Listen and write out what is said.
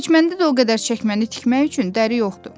Heç məndə də o qədər çəkməni tikmək üçün dəri yoxdur.